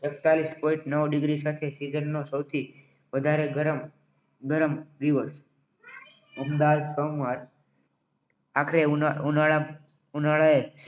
એકતાલિસ point નવ degree સાથે દિવસનો સૌથી વધારે ગરમ દિવસ અમદાવાદ આખરે ઉનાળાએ